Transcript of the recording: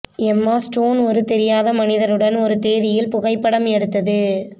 எம்மா ஸ்டோன் ஒரு தெரியாத மனிதருடன் ஒரு தேதியில் புகைப்படம் எடுத்தது